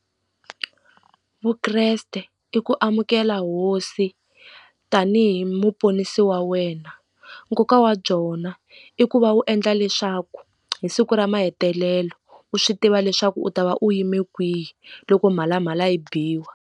Vukreste i ku amukela hosi tanihi muponisi wa wena nkoka wa byona i ku va wu endla leswaku hi siku ra mahetelelo u swi tiva leswaku u ta va u yime kwihi loko mhalamhala yi biwa.